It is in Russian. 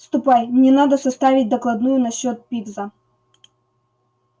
ступай мне надо составить докладную насчёт пивза